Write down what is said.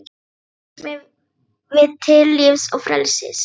Reis mig við til lífs og frelsis!